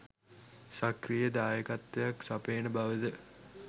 සක්‍රීය දායකත්වයක් සපයන බවද